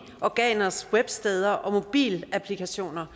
organers websteder og mobilapplikationer